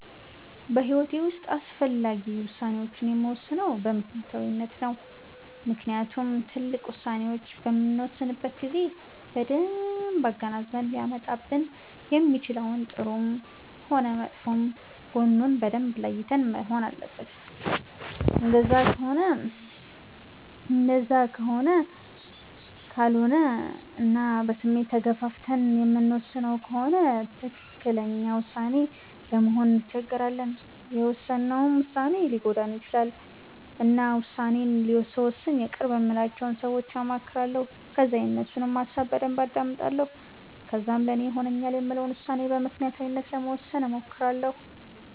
በሂዎቴ ዉስጥ አስፈላጊ ውሳኔወቺን የምወስነው በምክኒያታዊነት ነው። ምክንያቱም ትልቅ ዉሳኔዎች በምንወስንበት ጊዜ በደንብ አገናዝበን ሊያመጣብን የሚችለውን ጥሩም ሆነ መጥፎ ጎኑን በደንብ ለይተን መሆን አለበት እንደዛ ካልሆነ እና በስሜት ተገፋፍተን የምንወስን ከሆነ ትክክለኛ ዉሳኔ ለመወሰን እንቸገራለን የውሰነውም ዉሳኔ ሊጎዳን ይቺላል። እና ዉሳኔ ስወስን የቅርብ የምላቸውን ሰወች አማክራለሁ ከዛ የነሱንም ሀሳብ በደንብ አዳምጣለሁ ከዛም ለኔ ይሆነኛል የምለውን ዉሳኔ በምክኒያታዊነት ለመወሰን እሞክራለሁ